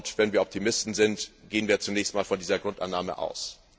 Wenn wir Optimisten sind, gehen wir zunächst einmal von dieser Grundannahme aus.